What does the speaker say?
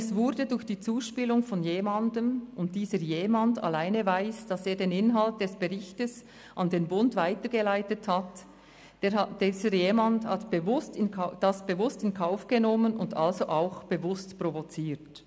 Es wurde durch die Zuspielung von jemandem – und dieser jemand alleine weiss, dass er den Inhalt des Berichts an den «Bund» weitergeleitet hat –, bewusst in Kauf genommen und also auch bewusst provoziert.